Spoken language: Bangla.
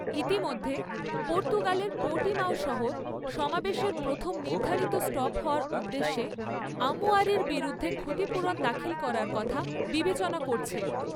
ইতিমধ্যে, পর্তুগালের পোর্টিমাও শহর, সমাবেশের প্রথম নির্ধারিত স্টপ হওয়ার উদ্দেশ্যে, আমুয়ারির বিরুদ্ধে ক্ষতিপূরণ দাখিল করার কথা বিবেচনা করছে।